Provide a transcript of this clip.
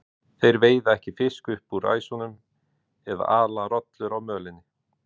Þeir veiða ekki fisk upp úr ræsunum eða ala rollur á mölinni.